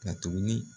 Ka tuguni